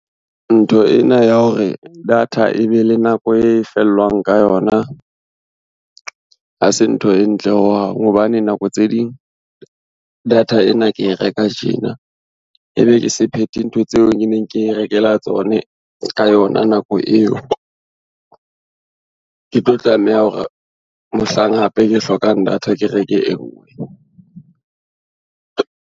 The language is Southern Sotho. Ntho ena ya hore data e be le nako e fellwang ka yona, ha se ntho e ntle hohang hobane nako tse ding, data ena ke e reka tjena ebe ke se phethe ntho tseo ke neng ke rekela tsone ka yona nako eo. Ke tlo tlameha hore mohlang hape ke hlokang data ke reke e ngwe.